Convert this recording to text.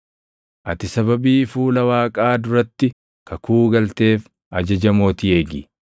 Ati sababii fuula Waaqaa duratti kakuu galteef ajaja mootii eegi.